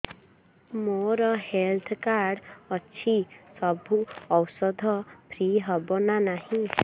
ମୋର health card ଅଛି ସବୁ ଔଷଧ ଫ୍ରି ହବ ନା ନାହିଁ